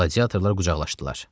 Gladiatorlar qucaqlaşdılar.